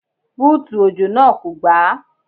Búùtù òjò náà kò gbà á.